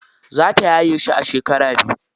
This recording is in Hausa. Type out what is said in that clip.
Za ta yaye shi a shekara biyu.